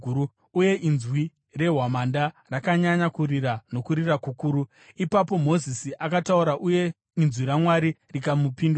uye inzwi rehwamanda rakanyanya kurira nokurira kukuru. Ipapo Mozisi akataura uye inzwi raMwari rikamupindura.